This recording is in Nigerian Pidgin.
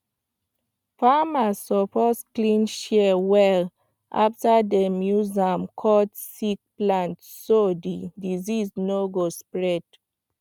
farmers suppose clean shears well after dem use am cut sick plant so di disease no go spread